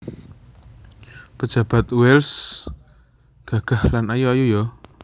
Pejabat Wells gagah lan ayu ayu yo